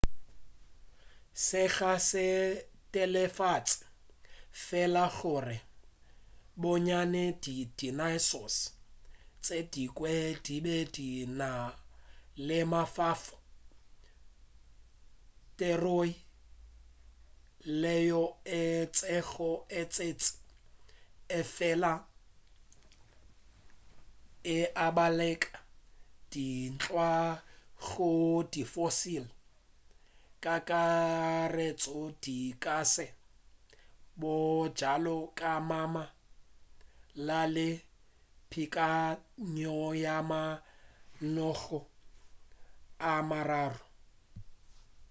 se ga se netefatše fela gore bonnyane di dinosaurs tše dingwe di be di na le mafofa theroy yeo e šetšego e tletši efela e abelana ka dintla gore di fossils ka kakaretšo di ka se bjalo ka mmala le peakanyo ya mamanoga a mararo